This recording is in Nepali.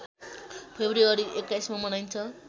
फेब्रुअरी २१ मा मनाइन्छ